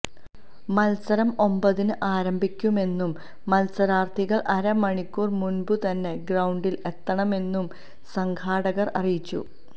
മത്സരം ഒൻപതിന് ആരംഭിക്കുമെന്നും മത്സരാർഥികൾ അരമണിക്കൂർ മുൻപുതന്നെ ഗ്രൌണ്ടിൽ എത്തണമെന്നും സംഘാടകർ അറിയിച്ചു